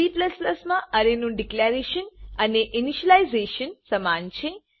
Cમા અરેનું ડીકલેરેશન અને ઇનીશલાઈઝેશન સમાન છે